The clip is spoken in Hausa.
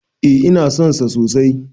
E, ina son sa sosai.